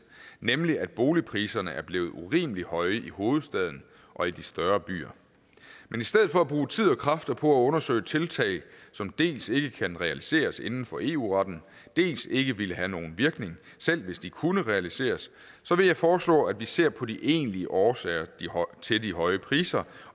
nemlig at boligpriserne er blevet urimelig høje i hovedstaden og i de større byer men i stedet for at bruge tid og kræfter på at undersøge tiltag som dels ikke kan realiseres inden for eu retten dels ikke ville have nogen virkning selv hvis de kunne realiseres så vil jeg foreslå at vi ser på de egentlige årsager til de høje priser